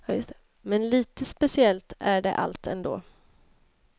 Men lite speciellt är det allt ändå.